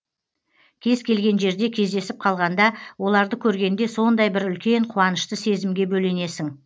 кез келген жерде кездесіп қалғанда оларды көргенде сондай бір үлкен қуанышты сезімге бөленесің